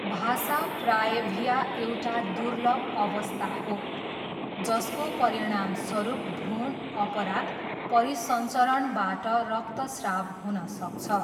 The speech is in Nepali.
भासा प्राएभिया एउटा दुर्लभ अवस्था हो जसको परिणामस्वरूप भ्रूण अपरा परिसंचरणबाट रक्तस्राव हुन सक्छ।